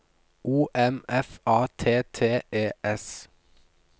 O M F A T T E S